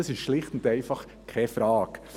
Das ist schlicht und einfach keine Frage.